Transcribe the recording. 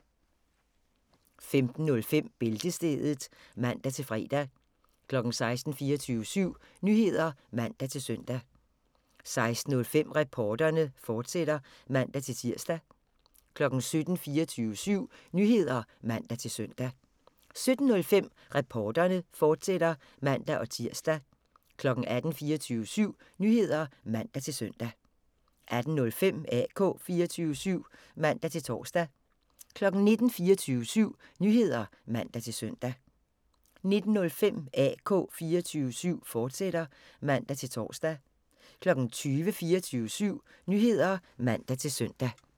15:05: Bæltestedet (man-fre) 16:00: 24syv Nyheder (man-søn) 16:05: Reporterne, fortsat (man-tir) 17:00: 24syv Nyheder (man-søn) 17:05: Reporterne, fortsat (man-tir) 18:00: 24syv Nyheder (man-søn) 18:05: AK 24syv (man-tor) 19:00: 24syv Nyheder (man-søn) 19:05: AK 24syv, fortsat (man-tor) 20:00: 24syv Nyheder (man-søn)